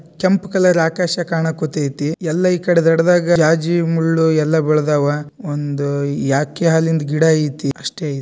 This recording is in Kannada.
ಕೆಂಪು ಕಲರ್ ಆಕರ್ಷಕ ಅಣಕು ತಿದ್ದಿ ಎಲ್ಲ ಕಡೆದಾಗ ರಾಜಿ ಮುಳ್ಳು ಎಲ್ಲ ಬೆಳೆದವ. ಒಂದು ಯಾಕೆ ಹಾಲಿನ್ ಗಿಡ ಐತಿ ಅಷ್ಟೇ.